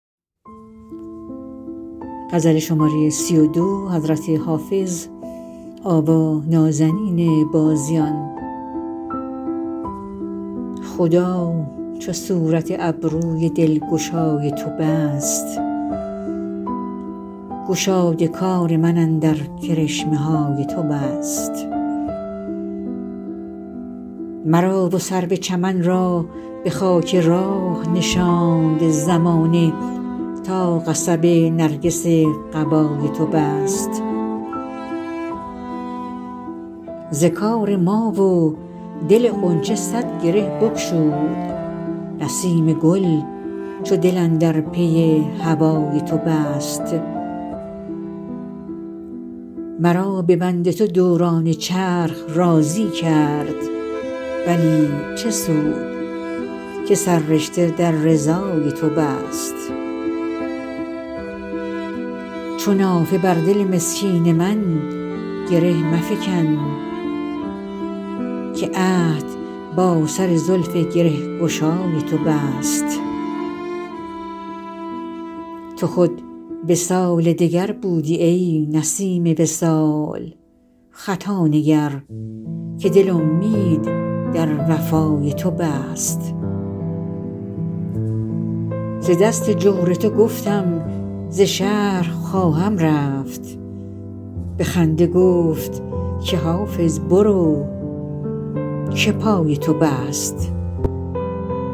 خدا چو صورت ابروی دلگشای تو بست گشاد کار من اندر کرشمه های تو بست مرا و سرو چمن را به خاک راه نشاند زمانه تا قصب نرگس قبای تو بست ز کار ما و دل غنچه صد گره بگشود نسیم گل چو دل اندر پی هوای تو بست مرا به بند تو دوران چرخ راضی کرد ولی چه سود که سررشته در رضای تو بست چو نافه بر دل مسکین من گره مفکن که عهد با سر زلف گره گشای تو بست تو خود وصال دگر بودی ای نسیم وصال خطا نگر که دل امید در وفای تو بست ز دست جور تو گفتم ز شهر خواهم رفت به خنده گفت که حافظ برو که پای تو بست